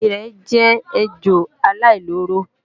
Erè jẹ́ ejò aláìlóró